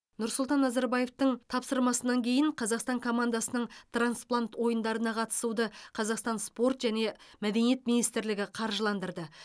нұрсұлтан назарбаевтың тапсырмасынан кейін қазақстан командасының трансплант ойындарына қатысуды қазақстан спорт және мәдениет министрлігі қаржыландырды